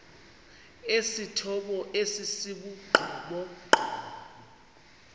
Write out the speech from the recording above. esithomo esi sibugqomogqomo